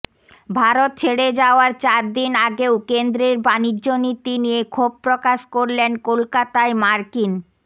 ভারত ছেড়ে যাওয়ার চার দিন আগেও কেন্দ্রের বাণিজ্য নীতি নিয়ে ক্ষোভ প্রকাশ করলেন কলকাতায় মার্কিন